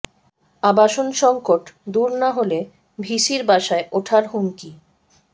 আবাসন সংকট দূর না হলে ভিসির বাসায় ওঠার হুমকি